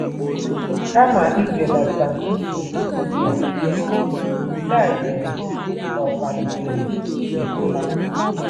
Kama ibelata nsogbu ndị a, nke a yiri ka ọ̀ kpalitere uto ha. ”